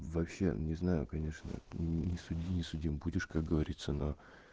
вообще не знаю конечно не суди не судим будешь как говорится но